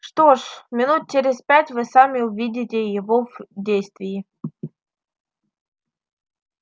что ж минут через пять вы сами увидите его в действии